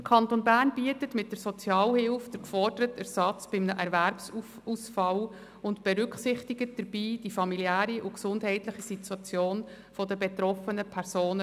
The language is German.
Der Kanton Bern bietet mit der Sozialhilfe den geforderten Ersatz bei einem Erwerbsausfall und berücksichtigt dabei bereits die familiäre und gesundheitliche Situation der betroffenen Personen.